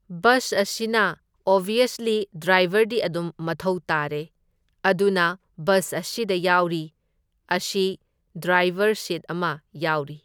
Bus ꯑꯁꯤꯅ obviously ꯗ꯭ꯔꯥꯏꯕꯔꯗꯤ ꯑꯗꯨꯝ ꯃꯊꯧ ꯇꯥꯔꯦ, ꯑꯗꯨꯅ ꯕꯁ ꯑꯁꯤꯗ ꯌꯥꯎꯔꯤ ꯑꯁꯤ ꯗ꯭ꯔꯥꯏꯕꯔ ꯁꯤꯠ ꯑꯃ ꯌꯥꯎꯔꯤ꯫